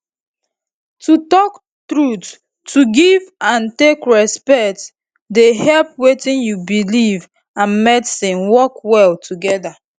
to talk truth to give and take respect dey help wetin u belief and medicine work well together